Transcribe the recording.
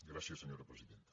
gràcies senyora presidenta